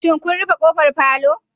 Shin kun rufe kofar palour